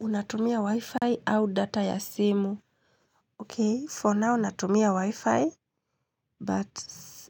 Unatumia wi-fi au data ya simu. Ok, for now unatumia wi-fi, but